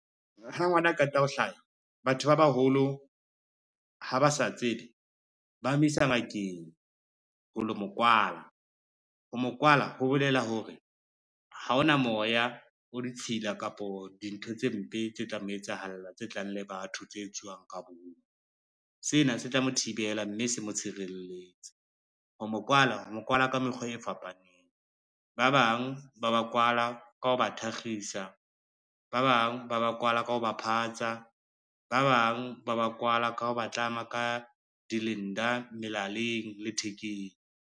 Ha ngwana a qeta ho hlaya batho ba baholo ha ba sa tsede, ba a mo isa ngakeng ho lo mo kwala. Ho mo kwala ho bolela hore, ha ona moya o ditshila kapo dintho tse mpe tse tla mo etsahalla tse tlang le batho tse etsuwang ka bomo, sena se tla mo thibela, mme se mo tshireletse. Ho mo kwala, o mo kwala ka mekgwa e fapaneng, ba bang ba ba kwala ka ho ba thakgisa, ba bang ba ba kwala ka ho ba phatsa, ba bang ba ba kwala ka ho ba tlama ka di-linda melaleng le thekeng.